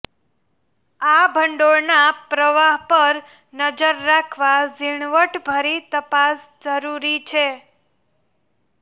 આ ભંડોળના પ્રવાહ પર નજર રાખવા ઝીણવટભરી તપાસ જરૂરી છે